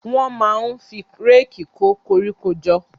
Wọ́n máa ń fi réèkì kó koríko jọ.